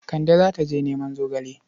Kande za ta je neman zogale.